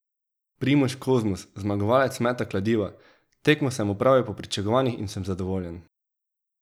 Primož Kozmus, zmagovalec meta kladiva: 'Tekmo sem opravil po pričakovanjih in sem zadovoljen.